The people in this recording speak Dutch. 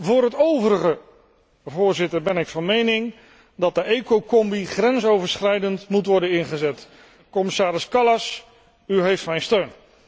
Voor het overige, Voorzitter, ben ik van mening dat de Ecocombi grensoverschrijdend moet worden ingezet. Commissaris Kallas, u heeft mijn steun!